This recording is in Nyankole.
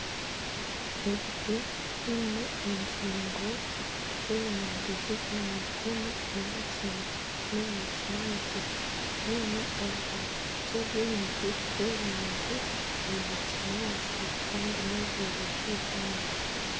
Ebiti biine engingo z'erangi zijwangizemu eya kinekye n'eya kinyaatsi bine obubabi bukye bwingi bw'erangi eya kinyaatsi kandi n'obwire bw'eihangwe.